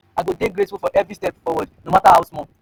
i go dey grateful for every step forward no mata how small. um